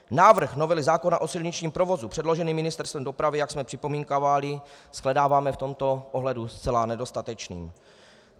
Návrh novely zákona o silničním provozu předložený Ministerstvem dopravy, jak jsme připomínkovali, shledáváme v tomto ohledu zcela nedostatečným.